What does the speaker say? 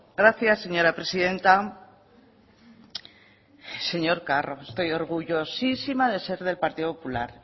gracias señora presidenta señor carro estoy orgullosísima de ser del partido popular